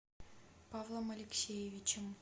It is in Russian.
павлом алексеевичем